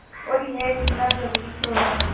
और यह इतना ज़रूरी क्यों है